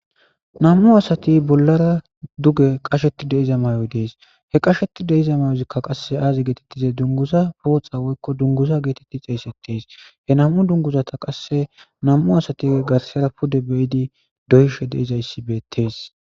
Nam'u asati bollara duge qasheti de'iza mayoy des he qasheti de'iza mayozika qase aazi geetetize dunguza pooxa woykko dunguza geeteti xeysetees he nam'u dunguzata qase nam'u asati garsera pude be'idi de'ishe dezayssi beetes.